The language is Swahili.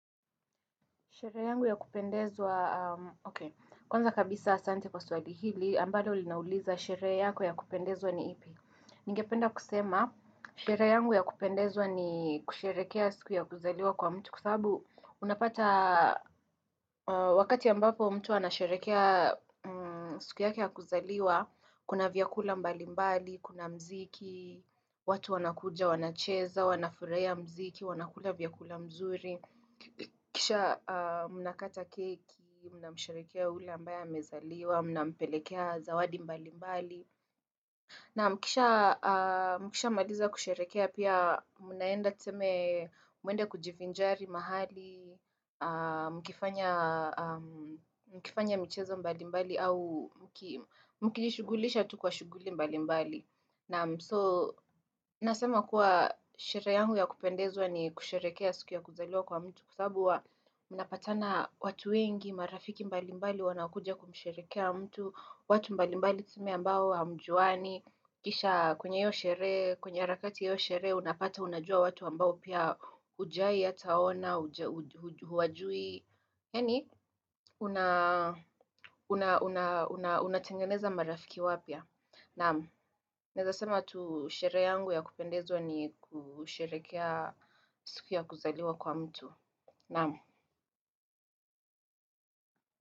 Sherehe yangu ya kupendezwa, ok, kwanza kabisa asante kwa swali hili, ambalo linauliza sherehe yako ya kupendezwa ni ipi. Ningependa kusema, sherehe yangu ya kupendezwa ni kusherehekea siku ya kuzaliwa kwa mtu. Kwa sababu, unapata wakati ambapo mtu anasherehekea siku yake kuzaliwa, kuna vyakula mbalimbali, kuna muziki, watu wanakuja, wanacheza, wanafurahia muziki, wanakula vyakula mzuri. Kisha mnakata keki, mnamsherehekea yule ambaye amezaliwa, mnampelekea zawadi mbalimbali. Na mkisha maliza kusherehekea pia mnaenda tuseme muende kujivinjari mahali Mkifanya michezo mbalimbali au mkijishugulisha tu kwa shuguli mbalimbali Naam so, nasema kuwa sherehe yangu ya kupendezwa ni kusherehekea siku ya kuzaliwa kwa mtu. Kwa sababu mnapatana watu wengi, marafiki mbalimbali wanakuja kumsherehekea mtu watu mbalimbali tuseme ambao hamjuani. Kisha kwenye harakati ya hiyo sherehe, unapata unajua watu ambao pia hujawai hata waona, huwajui yani, unatengeneza marafiki wapya Naam, naweza sema tu sherehe yangu ya kupendezwa ni kusherehekea siku ya kuzaliwa kwa mtu. Naam.